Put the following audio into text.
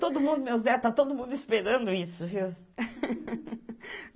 Todo mundo, meu Zé, tá todo mundo esperando isso, viu?